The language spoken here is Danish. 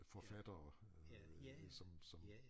Forfattere øh som som